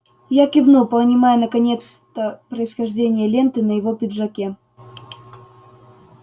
я кивнул понимая наконец-то происхождение ленты на его пиджаке